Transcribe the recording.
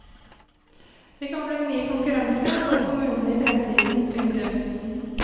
Det kan bli mye konkurranse forkommunene i fremtiden. punktum